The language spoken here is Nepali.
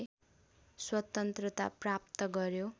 स्वतन्त्रता प्राप्त गर्यो